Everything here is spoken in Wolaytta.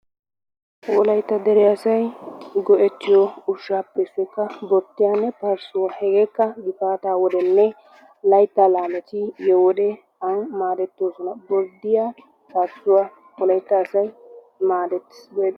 Wolaytta dere asay go'ettiyo ushshaappe issoy borddiyanne parssuwa. Hegeekka gifaataa wodenne laytta laameti yiyo wode an maadetoososna. Borddiya parssuwa wolaytta asay maadetees, go'ettees.